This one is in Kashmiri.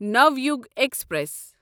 ناویُگ ایکسپریس